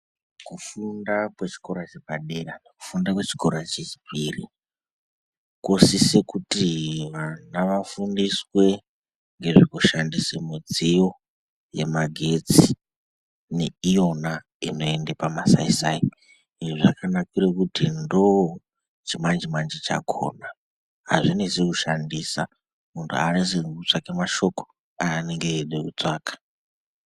Kufunda kwechikora chepadera, kufunda kwechikora chechipiri kosise kuti vana vafundiswe ngezvekushandise mudziyo yemagetsi neiyona inoende pamasaisai izvi zvakanakirea kuti ndoo chimanjimanji chakhona, azvinetsi kushandisa, munhu aanetseki kutsvake mashoko aanoge eide kutsvaka.